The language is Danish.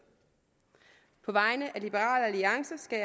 på vegne af liberal alliance skal